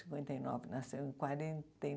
Cinquenta e nova, nasceu em quarenta e